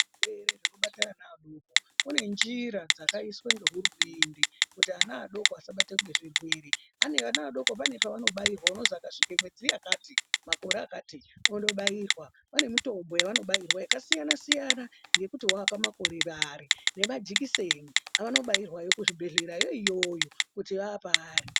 Zvirwere zvinobate ana adoko kune njira dzakaiswe ngehurumende kuti ana adoko asabatwe ngezvirwere ana adoko ane paanobairwa unozi akasvike mwedzi yakati, makore akati ondobairwa. Vanemotombo yavanobairwa yakasiyana siyana yekuti wapamakore Ari nemajekiseni avanobairwayo kuzvibhedhlerayo iyoyo kuti vapari.